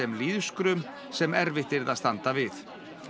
lýðskrum sem erfitt yrði að standa við